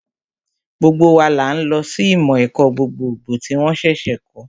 Gbogbo wa là ń lọ sí ìmọ̀ ẹ̀kọ́ gbogbogbò tí wón ṣẹ̀ṣẹ̀ kọ̀ọ́